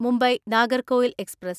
Mumbai Nagercoil express